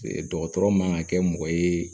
Dɔgɔtɔrɔ man ka kɛ mɔgɔ ye